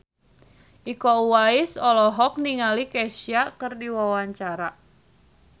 Iko Uwais olohok ningali Kesha keur diwawancara